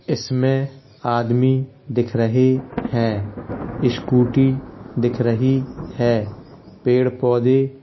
इसमें आदमी दिख रही है स्कूटी दिख रही है पेड़ पौधे --